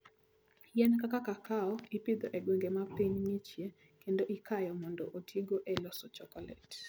Yien kaka kakao ipidho e gwenge ma piny ng'ichie kendo ikayo mondo otigo e loso chokolet.